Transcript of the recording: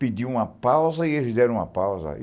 pediu uma pausa e eles deram uma pausa.